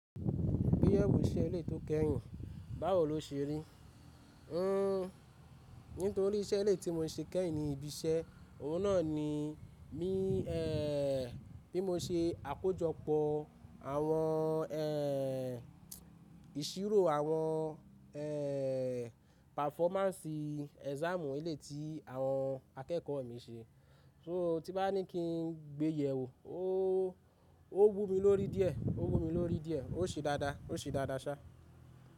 Gbéyẹ̀wò iṣẹ́ eléyìí tó kẹ́yìn, báwo lo ṣe rí? N nítorí iṣẹ́ eléyìí tí mo ṣe kẹ́yìn ní ibi iṣẹ́, òun náà ni mí eèò bí mo ṣe àkójọpọ̀ àwọn eè ìṣirò àwọn eè pàfọ́másì ẹ́sáàmù eléyìí tí àwọn akẹ́kọ̀ọ́ mi ṣe. So tí bá ní kí n gbéyẹ̀wò ó ó wù mí lórí díẹ̀, ó wù mí lórí díẹ̀, ó ṣe dáadáa, ó ṣe dáadáa ṣá.